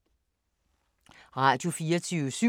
Radio24syv